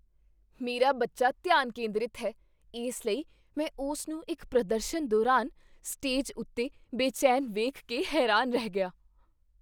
ਮੇਰਾ ਬੱਚਾ ਧਿਆਨ ਕੇਂਦਰਿਤ ਹੈ, ਇਸ ਲਈ ਮੈਂ ਉਸ ਨੂੰ ਇੱਕ ਪ੍ਰਦਰਸ਼ਨ ਦੌਰਾਨ ਸਟੇਜ ਉੱਤੇ ਬੇਚੈਨ ਵੇਖ ਕੇ ਹੈਰਾਨ ਰਹਿ ਗਿਆ।